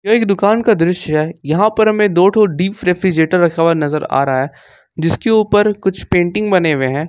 यह एक दुकान का दृश्य है यहां पर हमें दो डीप रेफ्रिजरेटर रखा हुआ नजर आ रहा है जिसके ऊपर कुछ पेंटिंग बने हुए हैं।